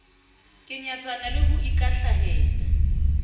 ke nyatsana le ho ikwahlahela